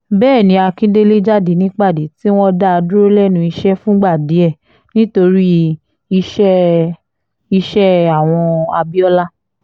bẹ́ẹ̀ ni akíndélé jáde nípàdé tí wọ́n dá a dúró lẹ́nu iṣẹ́ fúngbà díẹ̀ nítorí iṣẹ́ itt iṣẹ́ àwọn abiola